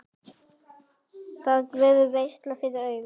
Það verður veisla fyrir augað.